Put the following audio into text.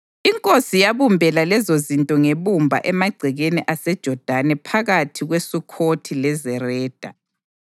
Inkosi yabumbela lezozinto ngebumba emagcekeni aseJodani phakathi kweSukhothi leZereda.